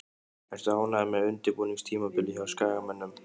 Ertu ánægður með undirbúningstímabilið hjá Skagamönnum?